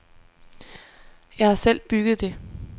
Jeg har selv bygget det.